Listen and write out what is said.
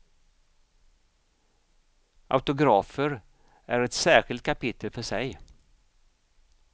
Autografer är ett särskilt kapitel för sig.